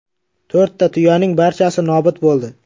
To‘rtta tuyaning barchasi nobud bo‘ldi.